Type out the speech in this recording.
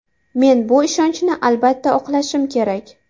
Men bu ishonchni albatta oqlashim kerak!